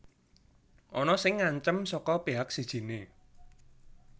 Ana sing ngancam saka pihak sijiné